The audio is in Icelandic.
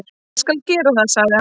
"""Ég skal gera það, sagði hann."""